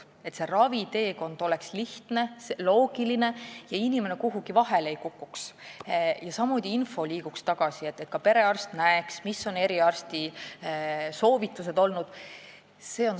Me peame minema selles suunas, et raviteekond oleks lihtne ja loogiline, inimene ei kukuks kuhugi vahele ning info liiguks tagasi, et ka perearst näeks, millised on olnud eriarsti soovitused.